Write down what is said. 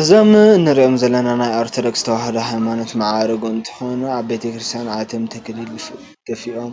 እዞም እንሪኦም ዘለና ናይ ኦርቶዶክስ ተዋህዶ ሃይማኖት መርጉ እንትኮኑ ኣብ ቤተክርስትያን ኣትዮም ተክሊሊ ደፊኦም